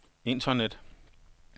internet